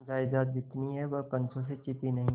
जायदाद जितनी है वह पंचों से छिपी नहीं